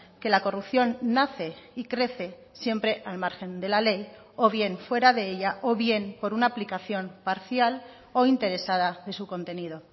que la corrupción nace y crece siempre al margen de la ley o bien fuera de ella o bien por una aplicación parcial o interesada de su contenido